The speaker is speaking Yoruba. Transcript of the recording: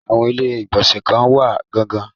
Àwọn ilé-ìgbọ̀nsẹ̀ kan wọ́n gan-an.